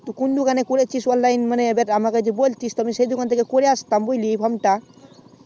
তুই কোন দোকানে করেছিস বা যদি দোকান তাই আমাকে বোলটিস একটু তাহলে একটু ভালো হতো